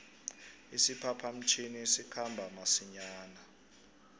isiphapha mtjhini sikhamba masinjana